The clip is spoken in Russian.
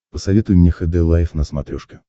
посоветуй мне хд лайф на смотрешке